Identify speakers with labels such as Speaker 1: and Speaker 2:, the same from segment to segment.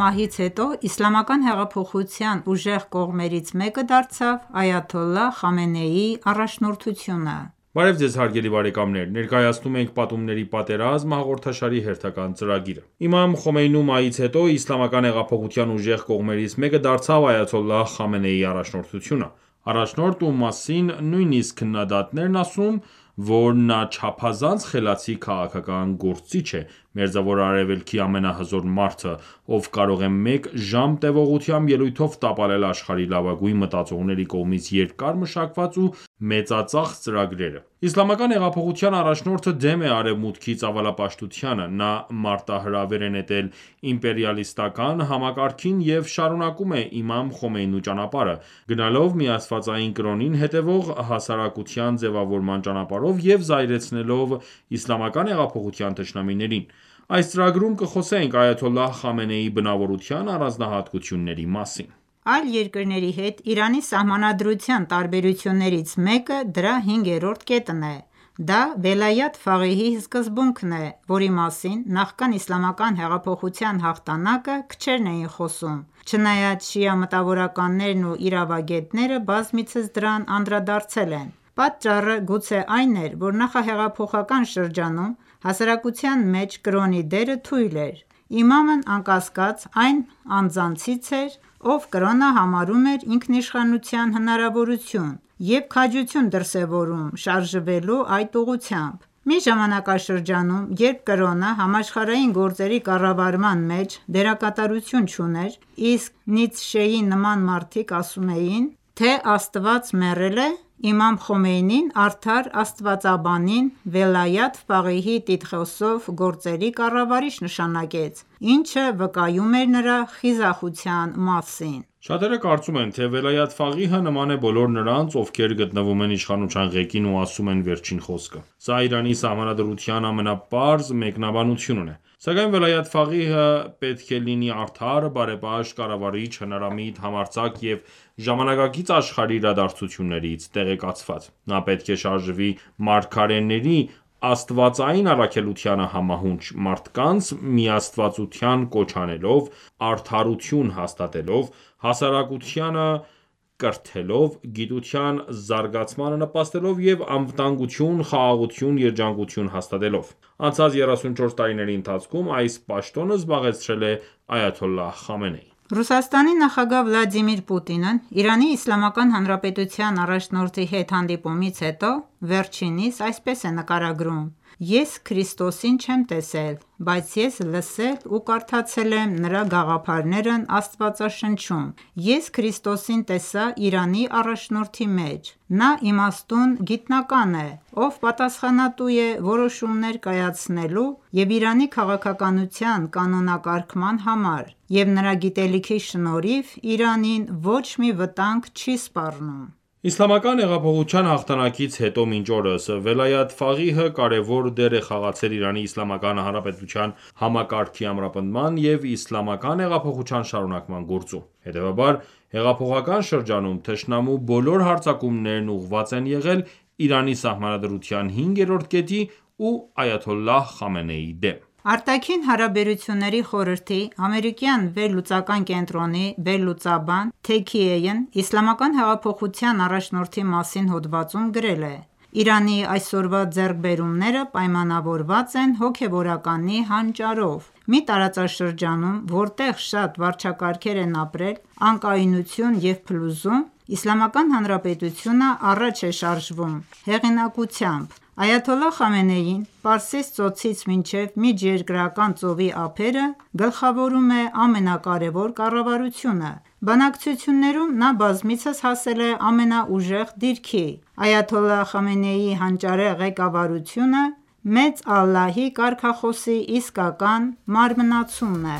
Speaker 1: մահից հետո Իսլամական հեղափոխության ուժեղ կողմերից մեկը դարձավ այաթոլլահ Խամենեիի առաջնորդությունը:
Speaker 2: Բարև Ձեզ հարգելի բարեկամներ: Ներկայացնում ենք «Պատումների պատերազմ» հաղորդաշարի հերթական թողարկումը: Իմամ Խոմեյնու մահից հետո Իսլամական հեղափոխության ուժեղ կողմերից մեկը դարձավ այաթոլլահ Խամենեիի առաջնորդությունը: Առաջնորդ, ում մասին նույնիսկ քննադատներն են ասում, որ նա չափազանց խելացի քաղաքական գործիչ է, Մերձավոր Արևելքի ամենահզոր մարդը, ով կարող է մեկ ժամ տևողությամբ ելույթով տապալել աշխարհի լավագույն մտածողների կողմից երկար մշակված ու մեծածախս ծրագրերը: Իսլամական հեղափոխության առաջնորդը դեմ է Արևմուտքի ծավալապաշտությանը, նա մարտահրավեր է նետել իմպերիալիստական համակարգին և շարունակում է իմամ Խոմեյնու ճանապարհը, գնալով միաստվածային կրոնին հետևող հասարակության ձևավորման ճանապարհով և զայրացնելով իսլամական հեղափոխության թշնամիներին:Այս թողարկման ընթացքում կխոսենք այաթոլլահ Խամենեիի բնավորության առանձնահատկությունների մասին:
Speaker 1: Այլ երկրների հետ Իրանի Սահմանադրության տարբերություններից մեկը դրա 5-րդ կետն է: Դա Վելայաթ Ֆաղիհի սկզբունքն է, որի մասին նախքան իսլամական հեղափոխության հաղթանակը քչերն էին խոսում, չնայած շիա մտավորականներն ու իրավագետները բազմիցս դրան անդրադարձել են: Պատճառը գուցե այն էր, որ նախահեղափոխական շրջանում հասարակության մեջ կրոնի դերը թույլ էր: Իմամն անկասկած այն անձանցից էր, ով կրոնը համարում էր ինքնիշխանության հնարավորություն և քաջություն դրսևորում՝ շարժվելու այդ ուղղությամբ: Մի ժամանակաշրջանում, երբ կրոնը համաշխարհային գործերի կառավարման մեջ դերակատարություն չուներ, իսկ Նիցշեի նման մարդիկ ասում էին, թե Աստված մեռել է, իմամ Խոմեյնին արդար աստվածաբանին Վելայաթ Ֆաղիհի տիտղոսով գործերի կառավարիչ նշանակեց, ինչը վկայում էր նրա խիզախության մասին:
Speaker 2: Շատերը կարոծում են, թե Վելայաթ Ֆաղիհը նման է բոլոր նրանց, ովքեր գտնվում են իշխանության ղեկին ու ասում են վերջին խոսքը: Սա Իրանի Սահմանադրության ամենապարզ մեկնաբանությունն է: Սակայն Վելայաթ Ֆաղիհը պետք է լինի արդար, բարեպաշտ, կառավարիչ, հնարամիտ, համարձակ և ժամանակակից աշխարհի իրադարձություններից տեղեկացված: Նա պետք է շարժվի մարգարեների աստվածային առաքելությանը համահունչ՝ մարդկանց միաստվածության կոչ անելով, արդարություն հաստատելով, հասարակությանը կրթելով, գիտության զարգացմանը նպաստելով և անվտանգություն, խաղաղություն, երջանկություն հաստատելով: Անցած 34 տարիների ընթացքում այս պաշտոնը զբաղեցրել է այաթոլլահ Խամենեին:
Speaker 1: ՌԴ նախագահ Վլադիմիր Պուտինն ԻԻՀ առաջնորդի հետ հանդիպումից հետո, վերջինիս այսպես է նկարագրում. «Ես Քրիստոսին չեմ տեսել. Բայց ես լսել և կարդացել եմ նրա գաղափարներն Աստվածաշնչում: Ես Քրիստոսին տեսա Իրանի առաջնորդի մեջ: Նա իմաստուն գիտնական է, ով պատասխանատու է որոշումներ կայացնելու և Իրանի քաղաքականության կանոնակարգման համար, և նրա գիտելիքի շնորհիվ Իրանին ոչ մի վտանգ չի սպառնում»:
Speaker 2: Իսլամական հեղափոխության հաղթանակից հետո մինչ օրս, Վելայաթ Ֆաղիհը կարևոր դեր է խաղացել Իրանի Իսլամական Հանրապետության համակարգի ամրապնդման և Իսլամական հեղափոխության շարունակման գործում։ Հետևաբար, հետհեղափոխական շրջանում, թշնամու բոլոր հարձակումներն ուղղված են եղել Իրանի Սահմանադրության 5-րդ կետի և այաթոլլահ Խամենեիի դեմ:
Speaker 1: Արտաքին հարաբերությունների խորհրդի ամերիկյան վերլուծական կենտրոնի վերլուծաբան Ռեյ Թաքեյհն Իսլամական հեղափոխության առաջնորդի մասին հոդվածում գրել է. «Իրանի այսօրվա ձեռքբերումները պայմանավորված են հոգևորականի հանճարով։ Մի տարածաշրջանում, որտեղ շատ վարչակարգեր են ապրել անկայունություն և փլուզում, Իսլամական Հանրապետությունը առաջ է շարժվում ամենայն հզորությամբ: Այաթոլլահ Խամենեին Պարսից ծոցից մինչև Միջերկրական ծովի ափերը գլխավորում է ամենակարևոր կառավարությունը: Բանակցություններում նա բազմիցս հասել է ամենաուժեղ դիրքի։ Այաթոլլահ Խամենեիի հանճարեղ ղեկավարությունը «Մեծ է Աստված» կարգախոսի իսկական մարմնացումն է»: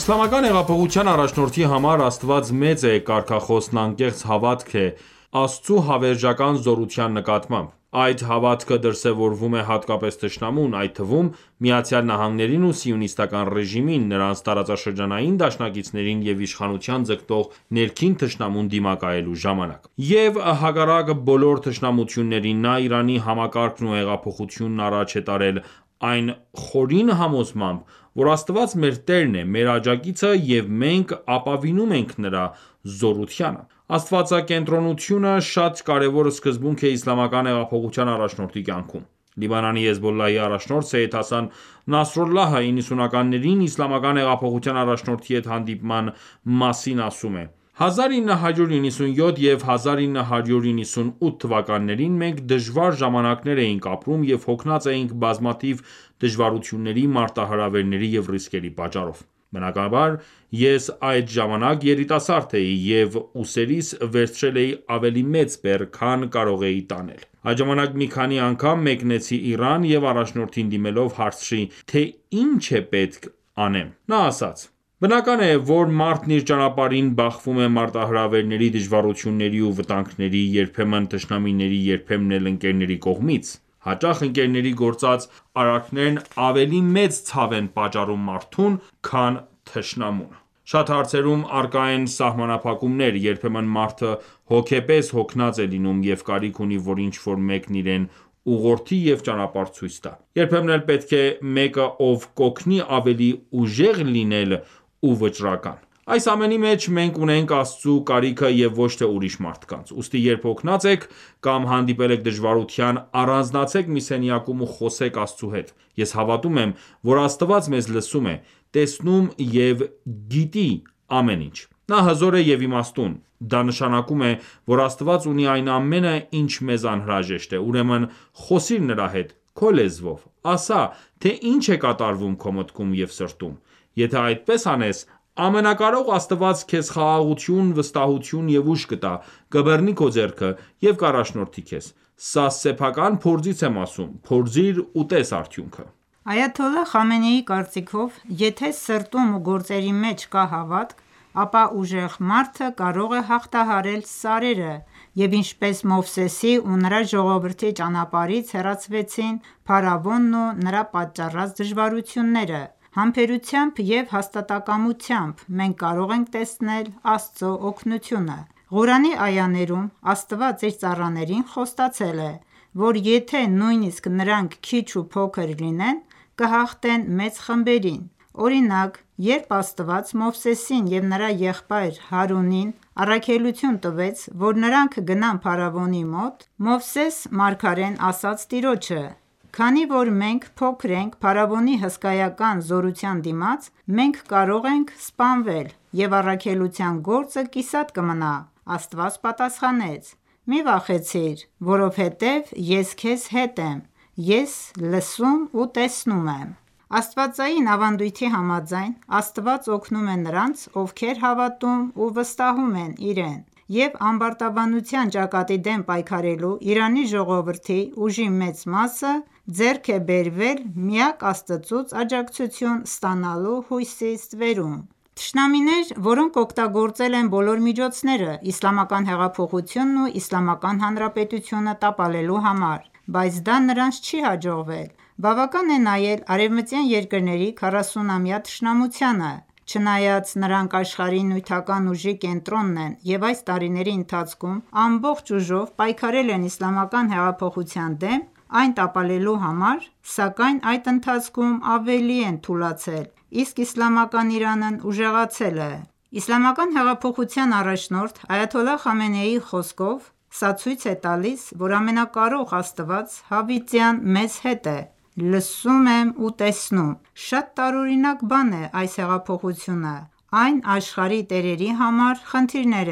Speaker 2: Իսլամական հեղափոխության առաջնորդի համար «Մեծ է Աստված » կարգախոսն անկեղծ հավատքն է Աստծու հավերժական զորության նկատմամբ: Այդ հավատքը դրսևորվում է հատկապես թշնամուն, այդ թվում՝ ԱՄՆ-ին ու Սիոնիստական ռեժիմին, նրանց տարածաշրջանային դաշնակիցներին և իշխանության ձգտող ներքին թշնամուն դիմակայելու ժամանակ: Եվ հակառակ բոլոր թշնամություններին, նա Իրանի համակարգն ու հեղափոխությունն առաջ է տարել այն խորին համոզմամբ, որ «Աստված մեր տերն է, մեր աջակիցը, և մենք ապավինում ենք նրա զորությանը»: Աստվածակենտրոնությունը շատ կարևոր սկզբունք է իսլամական հեղափոխության առաջնորդի կյանքում: Լիբանանի Հեզբոլլահի առաջնորդ Սեյյեդ Հասան Նասրալլահը, 90-ականներին Իսլամական հեղափոխության առաջնորդի հետ հանդիպման մասին ասում է. «1997 և 1998 թվկանաններին մենք դժվար ժամանակներ էինք ապրում և հոգնած էինք բազմաթիվ դժվարությունների, մարտահրավերների և ռիսկերի պատճառով։ Բնականաբար, ես այդ ժամանակ երիտասարդ էի, և ուսերիս վերցրել էի ավելի մեծ բեռ, քան կարող էի տանել։ Այդ ժամանակ մի քանի անգամ մեկնեցի Իրան և առաջնորդին դիմելով, հարցրի, թե ի՞նչ պետք է անեմ: Նա ասաց. «Բնական է, որ մարդն իր ճանապարհին բախվում է մարտահրավերների, դժվարությունների ու վտանգների՝ երբեմն թշնամիների, երբեմն էլ ընկերների կողմից։ Հաճախ ընկերների գործած արարքներն ավելի մեծ ցավ են պատճառում մարդուն քան թշնամունը: Շատ հարցերում առկա են սահմանափակումներ: Երբեմն մարդը հոգեպես հոգնած է լինում և կարիք ունի, որ ինչ-որ մեկն իրեն ուղղորդի և ճանապարհ ցույց տա: Երբեմն էլ պետք է մեկը, ով կօգնի ավելի ուժեղ լինել ու վճռական: Այս ամենի մեջ մենք ունենք Աստծու կարիքը և ոչ թե ուրիշ մարդկանց: Ուստի երբ հոգնած եք, կամ հանդիպել եք դժվարության, առանձնացեք մի սենյակում ու խոսեք Աստծու հետ: Ես հավատում եմ, որ Աստված մեզ լսում է, տեսնում և գիտի ամեն ինչ: Նա հզոր է և իմաստուն: Դա նշանակում է, որ Աստված ունի այն ամենը, ինչ մեզ անհրաժեշտ է: Ուրեմն խոսիր նրա հետ... քո լեզվով... ասա, թե ինչ է կատարվում քո մտքում և սրտում... Եթե այդպես անես, Ամենակարող Աստված քեզ խաղաղություն, վստահություն և ուժ կտա, կբռնի քո ձեռքը և կառաջնորդի քեզ: Սա սեփական փորձից եմ ասում. Փորձիր ու տես արդյունքը»։
Speaker 1: Այաթոլլահ Խամենեիի կարծիքով, եթե սրտում ու գործերի մեջ կա հավատք, ապա ուժեղ մարդը կարող է հաղթահարել սարերը, և ինչպես Մովսեսի ու նրա ժողովրդի ճանապարհից հեռացվեցին փարավոնն ու նրա պատճառած դժվարությունները, համբերությամբ և հաստատակամությամբ, մենք կարող ենք տեսնել Աստծո օգնությունը: Ղուրանի այաներում Աստված իր ծառաներին խոստացել է, որ եթե նույնիսկ նրանք քիչ ու փոքր լինեն, կհաղթեն մեծ խմբերին: Օրինակ, երբ Աստված Մովսեսին և նրա եղբայր Հարունին առաքելություն տվեց, որ նրանք գնան փարավոնի մոտ, Մովսես մարգարեն ասաց Տիրոջը. «Քանի որ մենք փոքր ենք փարավոնի հսկայական զորության դիմաց, մենք կարող ենք սպանվել, և առաքելության գործը կիսատ կմնա»: Աստված պատասխանեց. «Մի վախեցիր, որովհետև ես քեզ հետ եմ, ես լսում և տեսնում եմ»: Աստվածային ավանդույթի համաձայն՝ Աստված օգնում է նրանց, ովքեր հավատում և վստահում են Իրեն: Եվ ամբարտավանության ճակատի դեմ պայքարելու Իրանի ժողովրդի ուժի մեծ մասը ձեռք է բերվել միակ Աստծուց աջակցություն ստանալու հույսի ստվերում: Թշնամիներ, որոնք օգտագործել են բոլոր միջոցները Իսլամական հեղափոխությունն ու Իսլամական Հանրապետությունը տապալելու համար, բայց դա նրանց չի հաջողվել: Բավական է նայել արևմտյան երկրների 40-ամյա թշնամությանը: Չնայած նրանք աշխարհի նյութական ուժի կենտրոնն են և այս տարիների ընթացքում ամբողջ ուժով պայքարել են իսլամական հեղափոխության դեմ՝ այն տապալելու համար, սակայն այդ ընթացքում ավելի են թուլացել, իսկ իսլամական Իրանն ուժեղացել է: Իսլամական հեղափոխության առաջնորդ Այաթոլլահ Խամենեիի խոսքով. «Սա ցույց է տալիս, որ Ամենակարող Աստված հավիտյան մեզ հետ է: Լսում եմ ու տեսնում: Շատ տարօրինակ բան է այս հեղափոխությունը, այն աշխարհի տերերի համար խնդիրներ